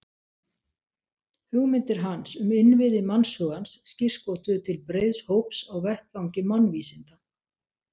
Hugmyndir hans um innviði mannshugans skírskotuðu til breiðs hóps á vettvangi mannvísinda.